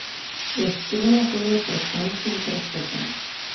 Je Struna torej pred sanjskim prestopom?